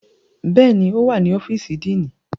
Bẹ́ẹ̀ni, o wa ni ọfiisi Díínì.